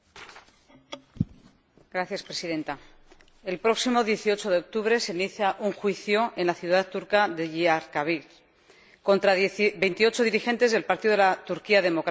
Señora Presidenta, el próximo 18 de octubre se inicia un juicio en la ciudad turca de Diyarbakir contra veintiocho dirigentes del Partido de la Turquía Democrática Entre